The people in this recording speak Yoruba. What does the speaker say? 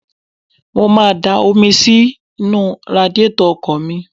Mo má a da omi sínú radiátọ̀ ọkọ̀ mi.